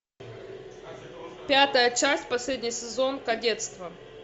пятая часть последний сезон кадетство